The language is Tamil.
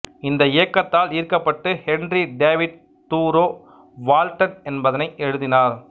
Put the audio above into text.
இந்த இயக்கத்தால் ஈர்க்கப்பட்டு ஹென்றி டேவிட் தூரோ வால்டன் என்பதனை எழுதினார்